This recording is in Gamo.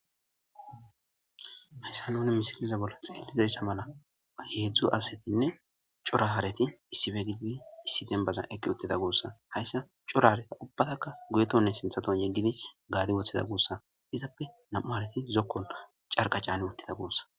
Hayssa nuni misiliza bolla xeellizayssa mala heedzdzu asatinne cora hareti issife gidibi issi dembaza eqqi uttida guossa hayssa cora hareta ubbatakka guyetonne sinthaton yegdidi gaadi wothida gussa izappe nam7u hareti zokkon carqa caani uttida guussa